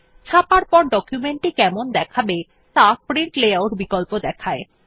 ছাপার পর ডকুমেন্ট টি কেমন দেখাবে ত়া প্রিন্ট লেআউট বিকল্প দেখায়